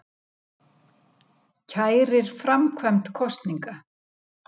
Kærir framkvæmd kosninga